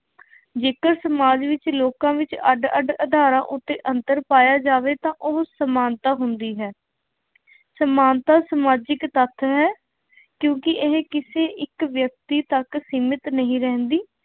ਜੇਕਰ ਸਮਾਜ ਵਿੱਚ ਲੋਕਾਂ ਵਿੱਚ ਅੱਡ ਅੱਡ ਆਧਾਰਾਂ ਉੱਤੇ ਅੰਤਰ ਪਾਇਆ ਜਾਵੇ ਤਾਂ ਉਹ ਸਮਾਨਤਾ ਹੁੰਦੀ ਹੈ। ਸਮਾਨਤਾ ਸਮਾਜਿਕ ਤੱਥ ਹੈ, ਕਿਉਂਕਿ ਇਹ ਕਿਸੇ ਇੱਕ ਵਿਅਕਤੀ ਤੱਕ ਸੀਮਿਤ ਨਹੀਂ ਰਹਿੰਦੀ।